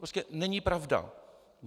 Prostě není pravda.